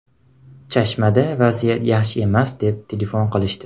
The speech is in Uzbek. Chashmada vaziyat yaxshi emas, deb telefon qilishdi.